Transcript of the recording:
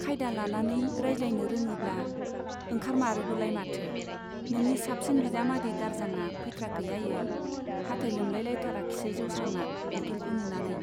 खायदा लानानै रायज्लायनो रोङोब्ला ओंखारमारोबोलाय माथो ! नोंनि साबसिन बिजामादै दारजांआ फैथ्राखै आयै ? हाथाइ लोमलायथाराखिसै जौस्रांना बट'लखौ नुनानै।